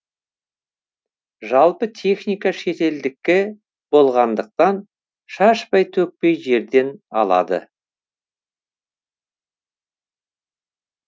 жалпы техника шетелдікі болғандықтан шашпай төкпей жерден алады